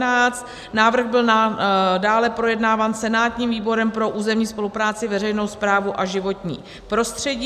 Návrh byl dále projednáván senátním výborem pro územní spolupráci, veřejnou správu a životní prostředí.